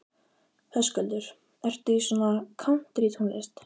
Höskuldur: Ertu í svona kántrítónlist?